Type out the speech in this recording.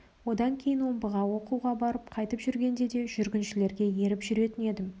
одан кейін омбыға оқуға барып қайтып жүргенде де жүргіншілерге еріп жүретін едім